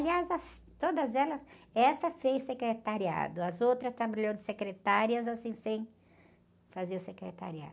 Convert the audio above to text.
Aliás, todas elas, essa fez secretariado, as outras trabalhou de secretárias, assim, sem fazer o secretariado.